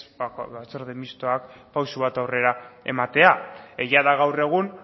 batzorde mistoak pauso bat aurrera ematea egia da gaur egun